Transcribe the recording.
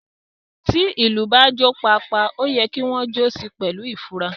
Tí ilú bá ń dun “pa a, pa a” oyè kí wón jo sí pèlú ifura.